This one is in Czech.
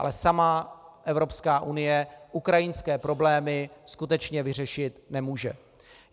Ale sama Evropská unie ukrajinské problémy skutečně vyřešit nemůže.